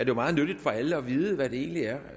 jo meget nyttigt for alle at vide hvad det egentlig er